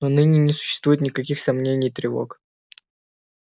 но ныне не существует никаких сомнений и тревог